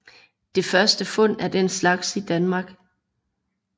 Det første fund af den slags i Danmark